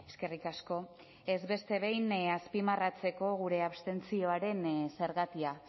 eskerrik asko beste behin ere azpimarratzeko gure abstentzioaren zergatia